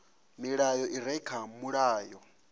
milayo i re kha mulayo